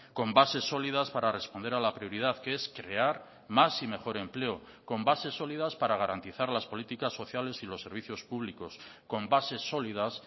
con bases sólidas para responder a la prioridad que es crear más y mejor empleo con bases sólidas para garantizar las políticas sociales y los servicios públicos con bases sólidas